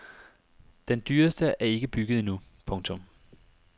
Den dyreste er ikke bygget endnu. punktum